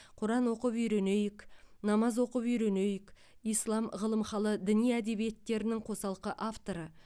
құран оқып үйренейік намаз оқып үйренейік ислам ғылымхалы діни әдебиеттерінің қосалқы авторы